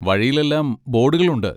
വഴിയിൽ എല്ലാം ബോഡുകൾ ഉണ്ട്.